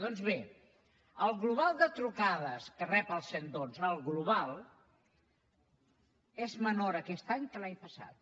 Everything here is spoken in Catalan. doncs bé el global de trucades que rep el cent i dotze el global és menor aquest any que l’any passat